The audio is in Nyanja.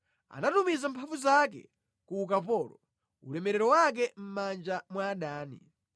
Anatumiza mphamvu zake ku ukapolo, ulemerero wake mʼmanja mwa adani.